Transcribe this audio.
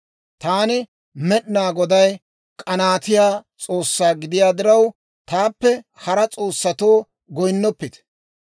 Taani Med'inaa Goday k'anaatiyaa S'oossaa gidiyaa diraw, taappe hara s'oossatoo goynnoppite.